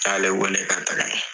N y'ale wale ka gɛrɛ na.